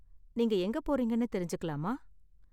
நீங்க எங்க போறீங்கன்னு தெரிஞ்சுக்கலாமா?